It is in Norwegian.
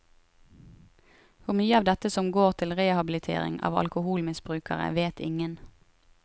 Hvor mye av dette som går til rehabilitering av alkoholmisbrukere, vet ingen.